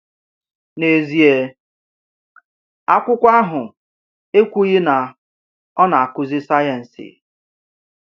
N’ezie, akwụkwọ ahụ ekwughị na ọ na-akụzi sayensị.